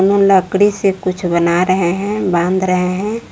वो लकड़ी से कुछ बना रहे हैं बांध रहे हैं।